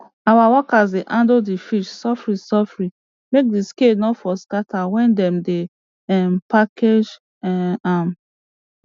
our workers dey handle d fish sofri sofri make di scale no for scatter wen dem dey um package um am